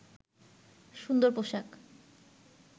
সুন্দর পোশাক